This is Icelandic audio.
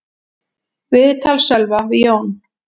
Viðtal Sölva við Jón